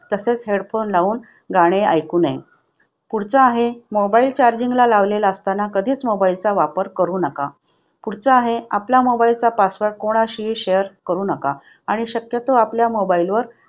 तसेच headphones लावून गाणे ऐकू नये. पुढचा आहे, mobile charging ला लावलेला असताना कधीच mobile चा वापर करू नका. पुढचा आहे आपला mobile चा password कोणाशी share करू नका आणि शक्यतो आपल्या mobile वर